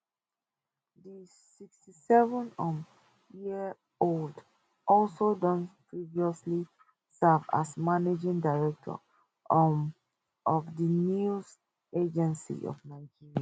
di 67 um year old also don previously serve as managing director um of di news agency of nigeria